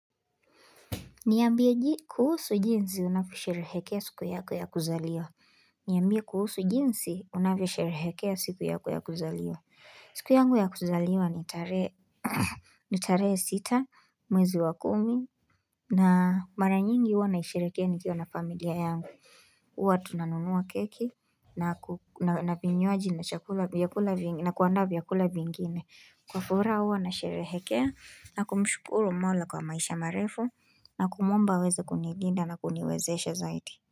Niaambie kuhusu jinsi unavyo sherehekea siku yako ya kuzaliwa. Niambie kuhusu jinsi unavya sherehekea siku yako ya kuzaliwa. Siku yangu ya kuzaliwa ni tarehe sita mwezi wa kumi na mara nyingi huwa na isherehekea nikio na familia yangu. Huwa tunanunua keki na vinywaji na kuanda vyakula vingine kwa furaha huwa na sherehekea na kumshukuru mola kwa maisha marefu na kumwomba aweze kunilinda na kuniwezeshe zaidi.